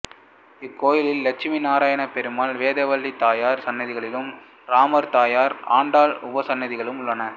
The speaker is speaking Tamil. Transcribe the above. இக்கோயிலில் லட்சுமிநாராயணப்பெருமாள் வேதவள்ளி தாயார் சன்னதிகளும் ராமர் தாயார் ஆண்டாள் உபசன்னதிகளும் உள்ளன